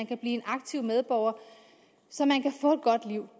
kan blive aktive medborgere og få et godt liv